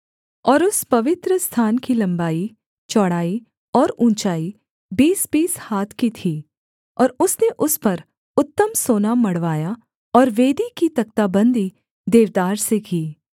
और उस पवित्रस्थान की लम्बाई चौड़ाई और ऊँचाई बीसबीस हाथ की थी और उसने उस पर उत्तम सोना मढ़वाया और वेदी की तख्ताबंदी देवदार से की